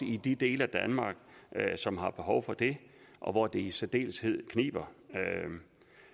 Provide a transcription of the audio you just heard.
i de dele af danmark som har behov for det og hvor det i særdeleshed kniber